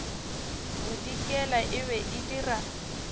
bodikela e be e dira